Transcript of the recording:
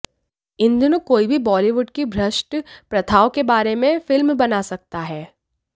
इन दिनों कोई भी बॉलीवुड की भ्रष्ट प्रथाओं के बारे में फिल्म बना सकता है